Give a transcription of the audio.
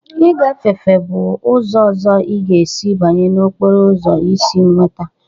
Ịgafefe bụ ụzọ ọzọ ị ga-esi banye n'okporo ụzọ isi nweta.